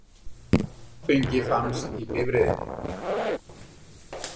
Áfengi fannst í bifreiðinni